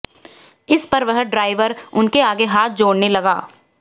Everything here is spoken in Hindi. इस पर वह ड्राइवर उनके आगे हाथ जोड़ने लगा